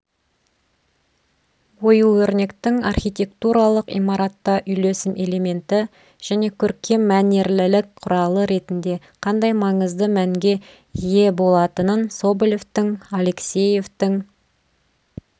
ою-өрнектің архитектуралық имаратта үйлесім элементі және көркем мәнерлілік құралы ретінде қандай маңызды мәнге ие болатынын соболевтің аалексеевтің